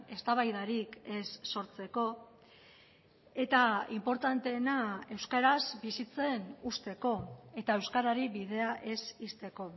eztabaidarik ez sortzeko eta inportanteena euskaraz bizitzen uzteko eta euskarari bidea ez ixteko